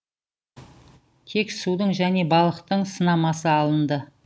тек судың және балықтың сынамасы алынды